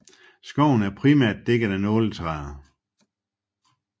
Skoven er primært dækket af nåletræer